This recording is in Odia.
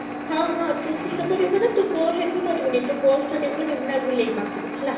ହଁ ହଁ ତୁ ବି ସବୁ ନା ତୁ bus ରେ ତ ଆସିବୁନି, ତ bus ତ ସବୁ ରିମନା ବୁଲେଇ ପକ୍ଷରୁ ହେଲା?